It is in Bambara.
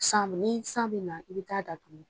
San be ni san be na i bi ta'a datugu